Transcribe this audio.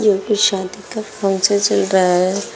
कुछ शादी का फंक्शन चल रहा है।